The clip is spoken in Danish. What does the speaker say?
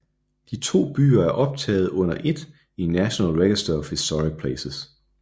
De to byer er optaget under ét i National Register of Historic Places